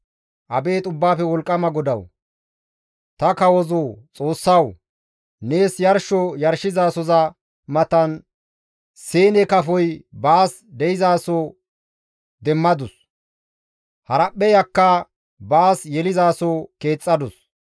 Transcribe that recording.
Abeet Ubbaafe Wolqqama GODAWU! Ta kawozo Xoossawu! Nees yarsho yarshizasoza matan siine kafoy baas de7izaso demmadus. Haraphpheyakka baas yelizaso keexxadus.